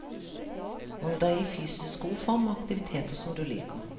Hold deg i fysisk god form med aktiviteter som du liker.